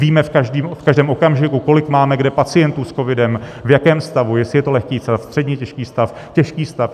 Víme v každém okamžiku, kolik máme kde pacientů s covidem, v jakém stavu, jestli je to lehký stav, středně těžký stav, těžký stav.